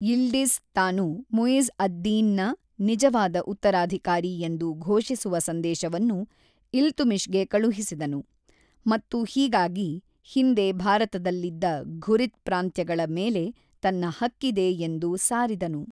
Yildiz ತಾನು ಮುಯಿಜ್ ಅದ್-ದಿನ್ನ ನಿಜವಾದ ಉತ್ತರಾಧಿಕಾರಿ ಎಂದು ಘೋಷಿಸುವ ಸಂದೇಶವನ್ನು ಇಲ್ತುಮಿಶ್‌ಗೆ ಕಳುಹಿಸಿದನು, ಮತ್ತು ಹೀಗಾಗಿ, ಹಿಂದೆ ಭಾರತದಲ್ಲಿದ್ದ ಘುರಿದ್ ಪ್ರಾಂತ್ಯಗಳ ಮೇಲೆ ತನ್ನ ಹಕ್ಕಿದೆ ಎಂದು ಸಾರಿದನು